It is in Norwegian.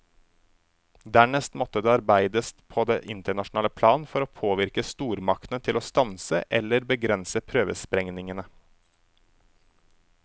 Dernest måtte det arbeides på det internasjonale plan for å påvirke stormaktene til å stanse eller begrense prøvesprengningene.